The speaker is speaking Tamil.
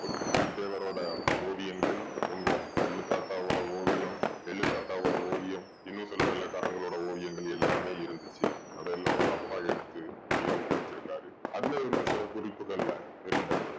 புலித்தேவரோட ஓவியங்கள், உங்க கொள்ளு தாத்தாவோட ஓவியம், எள்ளு தாத்தாவோட ஓவியம், இன்னும் சில வெள்ளைக்காரங்களோட ஓவியங்கள் எல்லாமே இருந்துச்சு. அதெல்லாம் உங்க அப்பா எடுத்து bureau க்குள்ள வெச்சிருக்காரு. அந்த இருந்த சில குறிப்புகள்ல இருந்த